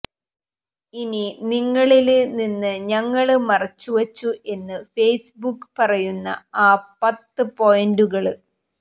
ഇനി നിങ്ങളില് നിന്ന് ഞങ്ങള് മറച്ച് വച്ചു എന്ന് ഫേസ്ബുക്ക് പറയുന്ന ആ പത്ത് പോയിന്റുകള്